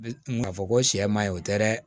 K'a fɔ ko sɛ man ɲi o tɛ dɛ